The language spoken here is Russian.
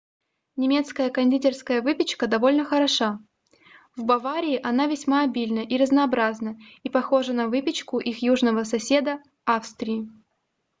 немецкая кондитерская выпечка довольно хороша в баварии она весьма обильна и разнообразна и похожа на выпечку их южного соседа австрии